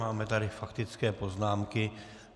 Máme tady faktické poznámky.